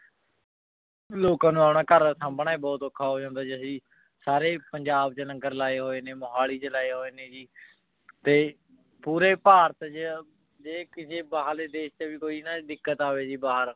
ਲੋਕਾਂ ਨੂ ਆਪਣਾ ਘਰ ਸੰਭ੍ਨਾ ਬੋਹਤ ਓਖਾ ਹੋ ਜਾਂਦਾ ਤੇ ਅਸੀਂ ਸਾਰੇ ਪੰਜਾਬ ਚ ਲੰਗਰ ਲੇ ਹੋਆਯ ਨੇ ਮੋਹਾਲੀ ਚ ਲੰਗਰ ਲੇ ਹੋਆਯ ਨੇ ਤੇ ਪੋਰੀ ਬਹ੍ਰਤ ਚ ਜੇ ਕਿਸੇ ਬਾਹਰ ਲੇ ਦੇਸ਼ ਵੀ ਨਾ ਕੋਈ ਦਿੱਕਤ ਅਵੇ ਬਹਿਰ